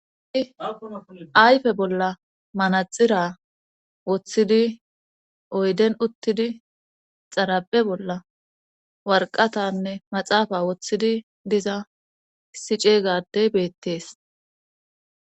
ayfe bolla manaxira woththidi oyden uttidi xaraphe bolla warqatanne maxaafa woththidi diza issi cega adey beettees